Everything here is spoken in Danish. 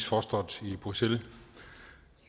fostret i bruxelles